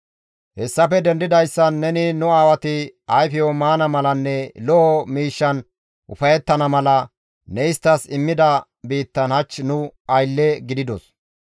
Hessafe dendidayssan ne nu aawati ayfeyo maana malanne lo7o miishshan ufayettana mala ne isttas immida biittan hach nu aylle gididos.